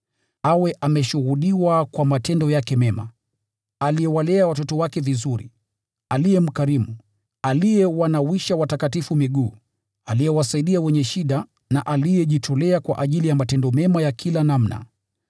awe ameshuhudiwa kwa matendo yake mema, aliyewalea watoto wake vizuri, aliye mkarimu, aliyewanawisha watakatifu miguu, aliyewasaidia wenye shida na aliyejitolea kwa ajili ya matendo mema ya kila namna.